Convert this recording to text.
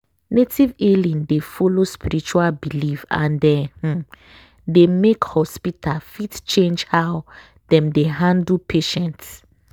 native healing dey follow spiritual belief and e um dey make hospital fit change how dem dey handle patients.